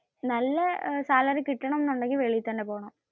നല്ല സാലറി കിട്ടണം എന്ന് ഉണ്ടെങ്കിൽ വെളിയിൽ തന്നെ പോണം.